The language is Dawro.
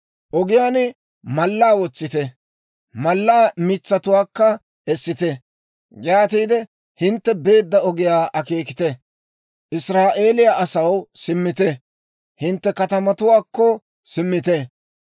«Ogiyaan mallaa wotsite; mallaa mitsatuwaakka essite. Yaatiide hintte beedda ogiyaa akeekite. Israa'eeliyaa asaw, simmite; hintte katamatuwaakko simmite.